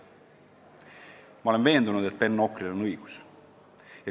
" Ma olen veendunud, et Ben Okril on õigus.